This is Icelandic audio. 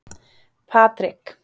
Patrik